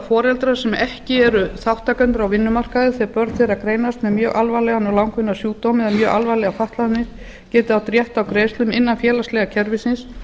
foreldrar sem ekki eru þátttakendur á vinnumarkaði þegar börn þeirra greinast með mjög alvarlegan og langvinnan sjúkdóm eða mjög alvarlegar fatlanir geta átt rétt á greiðslum innan félagslega kerfisins